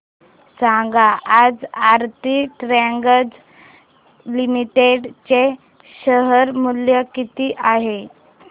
सांगा आज Aarti drugs limited चे शेअर मूल्य किती आहे